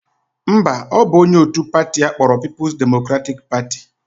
Mba, ọ bụ onye otu pati akpọrọ People Democratic Party